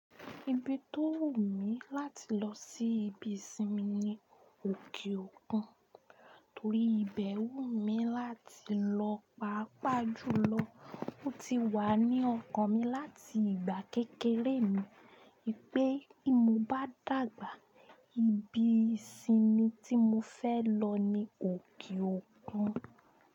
Ibi tó wù mí láti lọ se ìsinmi nii òkè òkun. Torí ìbẹ̀ wumi láti lọ pàápàá jùlọ, ó ti wà ní ọkàn mi láti ìgbà kékeré mi wipé tí mo bá dàgbà ibi ìsinmi tí mo fẹ́ lọ ni òkè òkun.